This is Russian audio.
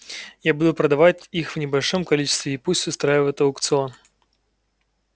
я буду продавать их в небольшом количестве и пусть устраивают аукцион